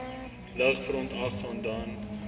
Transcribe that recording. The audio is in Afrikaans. lig verontagsaam dan